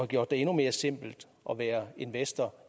gjort det endnu mere simpelt at være investor